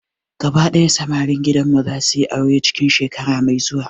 Gaba daya samarin gidan mu zasu yi aure cikin shekara mai zuwa